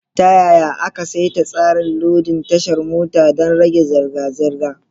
Ta yaya aka saita tsarin lodin tashar mota don rage zirga-zirga?